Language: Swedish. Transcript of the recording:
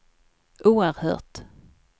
oerhört